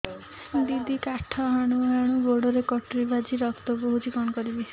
ଦିଦି କାଠ ହାଣୁ ହାଣୁ ଗୋଡରେ କଟୁରୀ ବାଜି ରକ୍ତ ବୋହୁଛି କଣ କରିବି